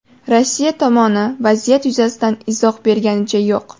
Rossiya tomoni vaziyat yuzasidan izoh berganicha yo‘q.